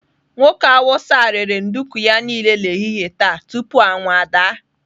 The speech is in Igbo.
Nwoke Hausa a rere nduku ya niile n'ehihie taa tupu anyanwụ ada.